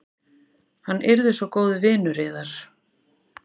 Hann er svo góður vinur yðar.